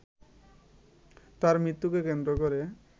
তাঁর মৃত্যুকে কেন্দ্র করে